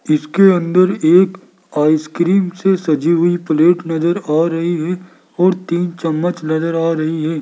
जिसके अंदर एक आइसक्रीम से सजी हुई प्लेट नजर आ रही है और तीन चम्मच नजर आ रही है।